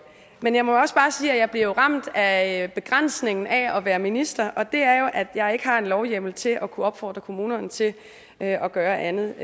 men jeg må også bare sige at jeg jo bliver ramt af begrænsningen af at være minister og det er at jeg ikke har lovhjemmel til at kunne opfordre kommunerne til at gøre andet